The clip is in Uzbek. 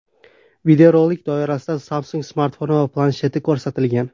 Videorolik doirasida Samsung smartfoni va plansheti ko‘rsatilgan.